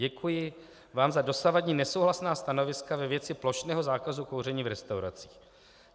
Děkuji vám za dosavadní nesouhlasná stanoviska ve věci plošného zákazu kouření v restauracích.